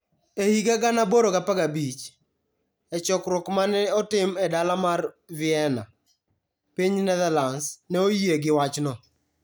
E higa 1815, e chokruok ma ne otim e dala mar Vienna, piny Netherlands ne oyie gi wachno.